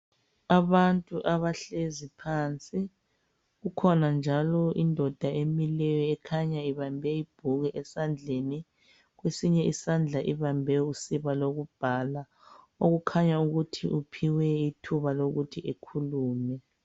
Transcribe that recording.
Abantu abahlezi phansi. Ukhona njalo indoda emileyo ekhanya ibambe ibhuku esandleni. Kwesinye isandla ibambe usiba lokubhala, okukhanya ukuthi uphiwe ithuba lokuthi ekhulume.